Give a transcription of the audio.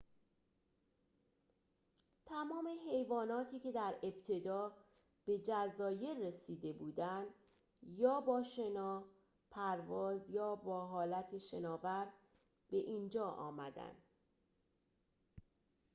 تمام حیواناتی که در ابتدا به جزایر رسیده بودند یا با شنا پرواز یا به حالت شناور به اینجا آمدند